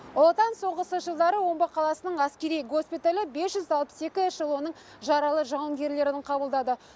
ұлы отан соғысы жылдары омбы қаласының әскери госпиталі бес жүз алпыс екі эшелонның жаралы жауынгерлерін қабылдады